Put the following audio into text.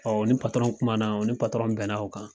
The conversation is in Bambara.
u ni kuma na u ni bɛn na o kan.